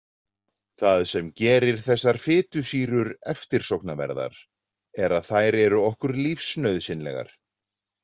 Það sem gerir þessar fitusýrur eftirsóknarverðar er að þær eru okkur lífsnauðsynlegar.